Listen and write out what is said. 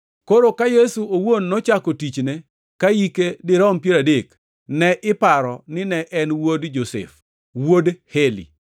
Koro ka Yesu owuon nochako tichne ka hike dirom piero adek. Ne iparo nine en wuod Josef, wuod Heli